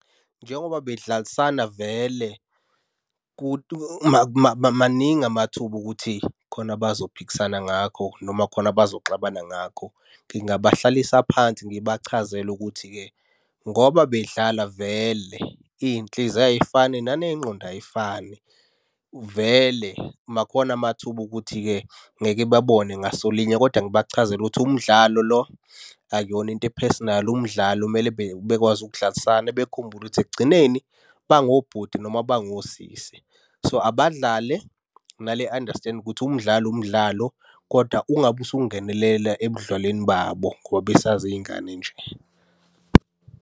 Njengoba bedlalisana vele maningi amathuba okuthi khona bazophikisana ngakho noma khona abazoxabana ngakho. Ngingabahlalisa phansi ngibachazele ukuthi-ke, ngoba bedlala vele iy'nhliziyo ay'fani naney'ngqondo ay'fani. Vele makhona amathuba okuthi-ke ngeke babone ngaso linye, kodwa ngibachazele ukuthi umdlalo lo akuyona into e-personal. Umdlalo kumele bekwazi ukudlalisana bekhumbule ukuthi ekugcineni bangobhuti noma bangosisi. So, abadlale nale understand ukuthi umdlalo umdlalo, kodwa ungabe usungenelela ebudlalweni babo ngoba besaziy'ngane nje.